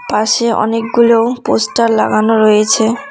পাশে অনেকগুলো পোস্টার লাগানো রয়েছে।